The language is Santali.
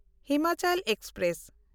ᱦᱤᱢᱟᱪᱚᱞ ᱮᱠᱥᱯᱨᱮᱥ